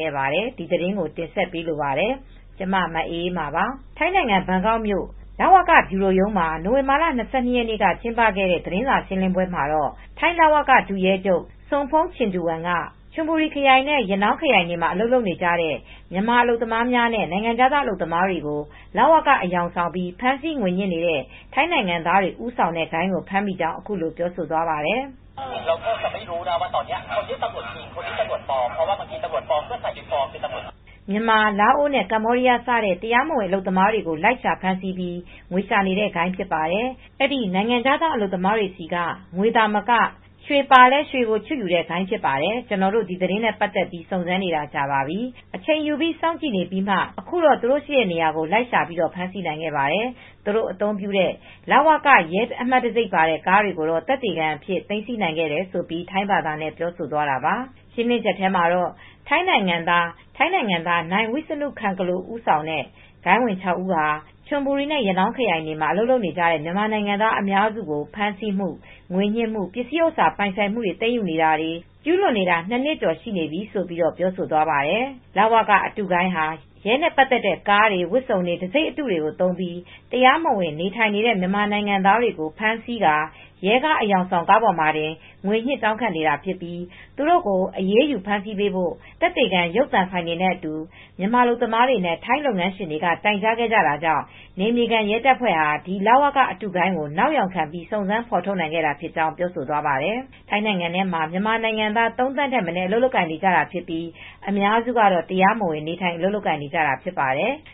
ခဲ့ပါတယ်။ ဒါနဲ့ပတ်သက်လို့ နိုဝင်ဘာလ (၂၂) ရက်နေ့က ပြုလုပ်တဲ့ ထိုင်းလူဝင်မှုကြီးကြပ်ရေးဌာန သတင်းစာရှင်းလင်းပွဲ အကြောင်း ဗွီအိုသတင်းထောက် မ အေးအေးမာက သတင်းပေးပို့ထားပါတယ်။ ထိုင်းနိုင်ငံ ဘန်ကောက်မြို့ လဝက ဗျူရိုရုံးမှာနိုဝင်ဘာလ ၂၂ရက်နေ့က ပြုလုပ်ခဲ့တဲ့ သတင်းစာရှင်းလင်းပွဲမှာတော့ ထိုင်းလဝက ဒုရဲချုပ် Sompong Chingduang စုန်ဖုန်ချင်ဒူဝင်က ံချွန်ဘူရီခရိုင် နဲ့ ရနောင်းခရိုင်တွေမှာအလုပ်လုပ်နေကြတဲ့ မြန်မာအလုပ်သမားများနဲ့နိုင်ငံခြားသားအလုပ်သမားတွေကို လဝက အယောင်ဆောင်ပြီး ဖမ်းဆီးငွေညစ်နေတဲ့ ထိုင်းနိုင်ငံသားတွေဦးဆောင်တဲ့ဂိုဏ်းကို ဖမ်းမိကြောင်းအခုလိုပြောသွားပါတယ် ။ မြန်မာနဲ့လာအိုဝ့်ကမ္ဘောဒီယားစတဲ့ တရားမဝင် အလုပ်သမားတွေကိုလိုက်ရှာဖမ်းဆီးပြီး ငွေရှာတဲ့ဂိုဏ်းဖြစ်ပါတယ် ။ အဲဒီ နိုင်ငံခြားသားအလုပ်သမားတွေဆီက ငွေသာမက ရွေပါလည်းရွေ တွေကိုချွတ်ယူနေတဲ့ဂိုဏ်းဖြစ်တယ် ။ ကျနော်တို့ အဲဒီသတင်းနဲပတ်သက်လို့ စုံစမ်းနေတာကြာပါပြီ ။အချိန်ယူပြီးစောင့်ကြည့်ပြီးမှာ အခုတော့သူတို့ရှိတဲ့နေရာကို လိုက်ရှာဖမ်းနိုင်ခဲ့ပါတယ်။ သူတို့အသုံးပြုနေတဲ့လဝကရဲအမှတ်တံဆိပ်ပါတဲ့ကားတွေကိုတော့သက်သေခံပစ္စည်းအဖြစ်သိမ်းနိုင်ခဲ့တယ် ၊ ဆိုပြီး ထိုင်းဘာသာနဲ့ပြောဆိုသွားတာပါ။ ရှင်းလင်းချက်ထဲမှာတော့ ထိုင်းနိုင်ငံသား Wisanu Khankalo နိုင်ဝိစနု ခန်ကလို ဦးဆောင်တဲ့ ဂိုဏ်းဝင်(၆)ဦးဟာ ချွန်ဘူရီနဲ့ရနောင်း ခရိုင်တွေမှာ အလုပ်လုပ်ကိုင်နေကြတဲ့ မြန်မာနိုင်ငံသားအများစုကို ဖမ်းဆီးမူ ငွေညှစ်မှု ပစ္စည်းဥစ္စာ ပိုင်ဆိုင်မှုတွေ သိမ်းယူနေတွေ ကျူးလွန်နေခဲ့တာ နှစ်နှစ်ကျော် ရှိနေပြီလို့လည်းပြောဆိုသွားပါတယ်" လဝက အတုဂိုဏ်းဟာ ရဲနဲ့ သက်ဆိုင်တဲ့ ကား၊ ဝတ်စုံ၊တဆိပ်အတုတွေသုံးပြီး တရားမဝင်နေထိုင်နေတဲ့ မြန်မာနိုင်ငံသားတွေကို ဖမ်းဆီးကာ ရဲကားအေယောင်ဆောင်ကားပေါ်မှာတင်ပြီး ငွေညှစ် တောင်းခံနေတာဖြစ်ပြီး သူတို့ကို အရးယူဖမ်းဆီးပေးဖို့ သက်သေခံ ရုပ်သံဖိုင်တွေနဲ့အတူ မြန်မာအလုပ်သမားတွေနဲ့ ထိုင်းလုပ်ငန်းရှင်တွေက တိုင် ကြားခဲ့ကြတာကြောင့် နယ်မြေခံ ရဲတပ်ဖွဲ့တွေဟာ ဒီလဝက အတုဂိုဏ်းကို နောက်ယောင်ခံစုံစမ်းဖေါ်ထုတ်နိုင်ခဲ့တာဖြစ်ကြောင်း ပြောဆိုသွားခဲ့ပါတယ်။ ထိုင်းနိုင်ငံထဲမှာမြန်မာနိုင်ငံသား ၃သန်းထက်မနည်း အလုပ်လုပ်ကိုင်နေကြတာဖြစ်ပြီး အများစုကတော့တရားမဝင် နေထိုင်အလုပ်လုပ်ကိုင်နေကြတာဖြစ်ပါတယ်။